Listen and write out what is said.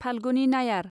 फाल्गुनि नायार